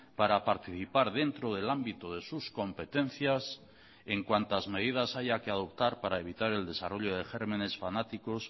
para participar dentro del ámbito de sus competencias en cuantas medidas haya que adoptar para evitar el desarrollo de gérmenes fanáticos